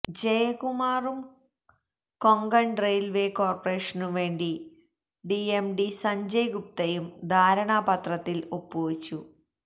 ജയകുമാറും Konkan railway കോര്പ്പറേഷനുവേണ്ടി CMD Sanjay ഗുപ്തയും ധാരണാപത്രത്തില് ഒപ്പുവച്ചു